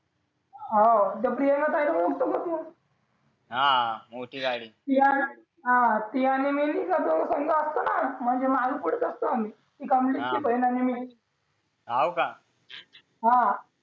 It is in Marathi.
हो प्रियंका ताईला ओळखतो का तू मोठी गाडी हा ती आणि मी जातो संग असतो म्हणजे मागे पुढेच असतो आम्ही कमलेशची बहीण आणि मी हो का हा